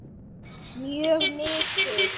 Mjög mikið.